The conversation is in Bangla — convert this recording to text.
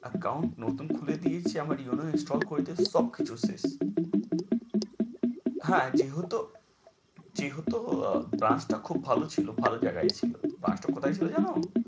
Account নতুন খুলে দিয়েছে আমার UNO install করে দিয়েছে সবকিছু শেষ। হ্যাঁ যেহেতু যেহেতু brance টা খুব ভালো ছিল ভাল জাগায় ছিল টা কোথায় ছিল জানো?